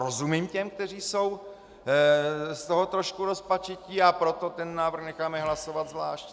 Rozumím těm, kteří jsou z toho trošku rozpačití, a proto ten návrh necháme hlasovat zvlášť.